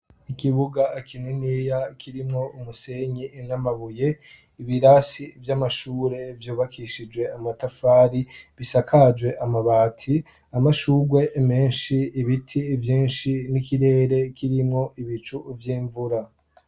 Ikibuga kininiya kirimwo umusenyi n'amabuye; ibirasi vy'amashure vyubakishije amatafari, bisakajwe amabati. Amashurwe menshi ibiti vyinshi n'ikirere kirimwo ibicu vy'imvura.